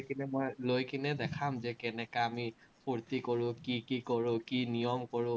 সেইকেটাক মই লৈকেনে দেখাম যে কেনেকা আমি ফুৰ্টি কৰো, কি কি কৰো, কি নিয়ম কৰো।